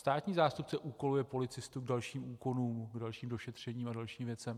Státní zástupce úkoluje policistu k dalším úkonům, k dalším došetřením a dalším věcem.